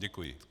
Děkuji.